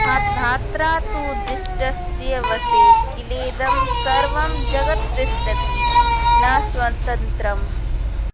धात्रा तु दिष्टस्य वशे किलेदं सर्वं जगत्तिष्ठति न स्वतन्त्रम्